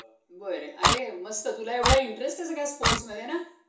तोडगा सापडतो आणि त्याचे पालन करतो. factory मध्ये गलिच्छतेसाठी एक परिपूर्ण dranex योजना तयार करणे आवश्यक आहे.